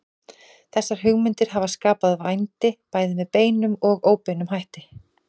Þessar hugmyndir hafa skapað vændi bæði með beinum og óbeinum hætti.